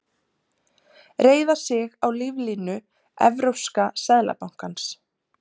Reiða sig á líflínu Evrópska seðlabankans